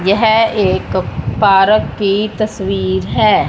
यह एक पार्क की तस्वीर है।